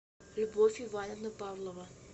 любовь ивановна павлова